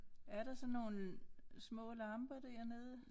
Er der sådan nogle små lamper dernede?